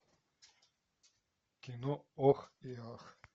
кино ох и ах